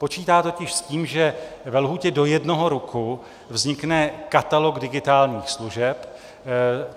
Počítá totiž s tím, že ve lhůtě do jednoho roku vznikne katalog digitálních služeb.